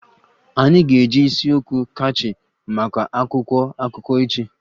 Anyị ga-eji isi okwu catchy maka akwụkwọ akụkọ echi